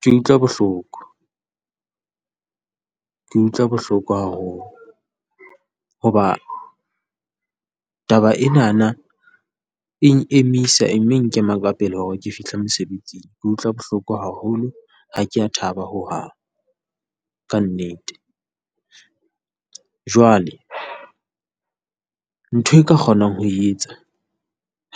Ke utlwa bohloko, ke utlwa bohloko haholo hoba taba enana eng emisa, e mme e nkema ka pele hore ke fihle mosebetsing. Ke utlwa bohloko haholo, ha kea thaba ho hang, ka nnete. Jwale ntho e ka kgonang ho e etsa